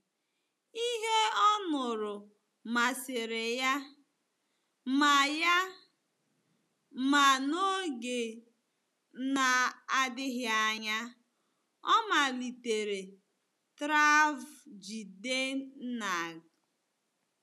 Ihe ọ nụrụ masịrị ya, ma ya, ma n'oge na-adịghị anya ọ malitere travJidennang.